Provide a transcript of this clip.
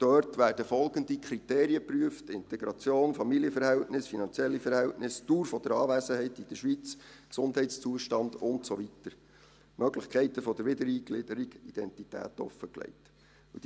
Dort werden folgende Kriterien geprüft: Integration, Familienverhältnisse, finanzielle Verhältnisse, Dauer der Anwesenheit in der Schweiz, Gesundheitszustand und so weiter, Möglichkeiten der Wiedereingliederung und offengelegte Identität.